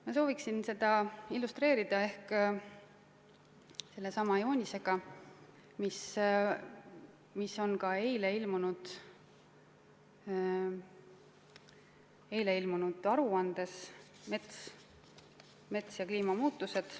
Ma sooviksin seda illustreerida sellesama joonisega, mis on ka eile ilmunud aruandes "Mets ja kliimamuutused".